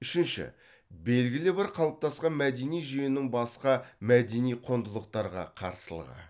үшінші белгілі бір қалыптасқан мәдени жүйенің басқа мәдени құндылықтарға қарсылығы